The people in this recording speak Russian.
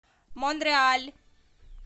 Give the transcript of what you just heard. монреаль